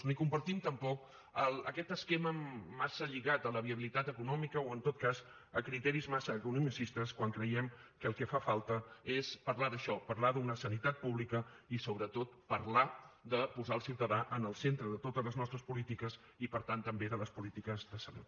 ni compartim tampoc aquest esquema massa lligat a la viabilitat econòmica o en tot cas a criteris massa economicistes quan creiem que el que fa falta és parlar d’això parlar d’una sanitat pública i sobretot parlar de posar el ciutadà en el centre de totes les nostres polítiques i per tant també de les polítiques de salut